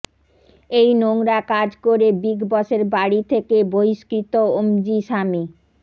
এই নোংরা কাজ করে বিগ বসের বাড়ি থেকে বহিঃষ্কৃত ওমজি স্বামী